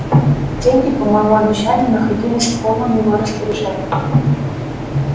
деньги по моему обещанию находились в полном его распоряжении